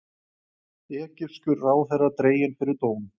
Egypskur ráðherra dreginn fyrir dóm